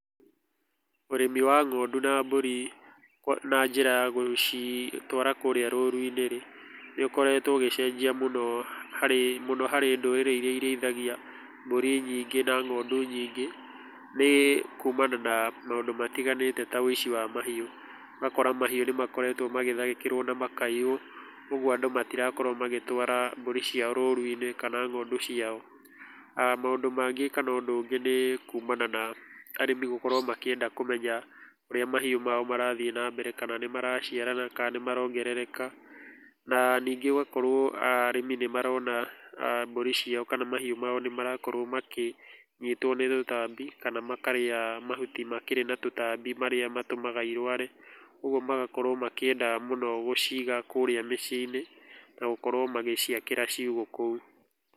Ũrĩmi wa ng'ondu na mbũri na njĩra ya gũcitwara kũrĩa rũru-inĩ rĩ, nĩ ũkoretwo ũgĩcenjia mũno mũno harĩ ndũrĩrĩ iria irĩithagia mbũri nyingĩ na ng'ondu nyingĩ nĩ kumana na maũndũ matiganĩte ta woici wa mahiũ, ũgakora kaehiũ nĩ makoretwo magĩtharĩkĩrwo na makaiywo ũguo andũ matikũretwo magĩtwara mbũri ciao rũru-inĩ kana ng'ondu ciao, maũndũ mangĩ kana ũndũ ũngĩ nĩ kumana na arĩmi gũkorwo makĩenda kũmenya ũrĩa mahiũ mao marathiĩ na mbere kana nĩ maraciarana kana nĩ marongereka na ningĩ ũgakorwo arĩmi nĩ marona mbũri ciao kana mahiũ mao nĩmarakorwo makĩnyitwo nĩ tũtambi kana makarĩa mahuti makĩrĩ na tũtambi marĩa matũmaga irware ũguo magakorwo makĩenda mũno gũciga kũrĩa mĩciĩ-inĩ na gũkorwo magĩciakĩra ciugũ kũu.